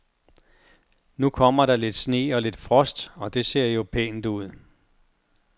Nu kom der lidt sne og lidt frost, og det ser jo pænt ud.